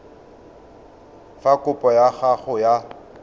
fa kopo ya gago ya